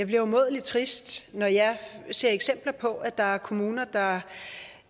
bliver umådelig trist når jeg ser eksempler på at der er kommuner